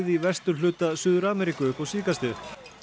í vesturhluta Suður Ameríku upp á síðkastið